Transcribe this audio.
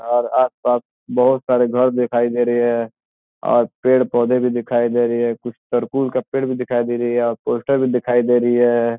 और आसपास बोहुत सारी घर दिखाई दे रही है और पेड़-पौधे भी दिखाई दे रही है कुछ सर्कुल का पेड़ भी दिखाई दे रही है और पोस्टर भी दिखाई दे रही है।